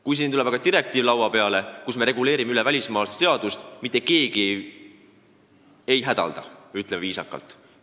Nüüd aga on tulnud laua peale direktiiv, mille ülevõtmisega me reguleerime üle, muutes välismaalaste seadust, aga mitte keegi ei hädalda – kui viisakalt öelda.